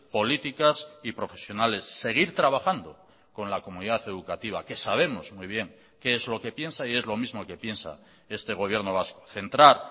políticas y profesionales seguir trabajando con la comunidad educativa que sabemos muy bien qué es lo que piensa y es lo mismo que piensa este gobierno vasco centrar